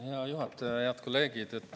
Hea juhataja ja head kolleegid!